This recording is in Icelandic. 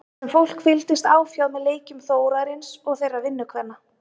Þar sem fólk fylgdist áfjáð með leikjum Þórarins og þeirra vinnukvenna.